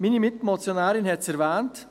Meine Mitmotionärin hat es erwähnt: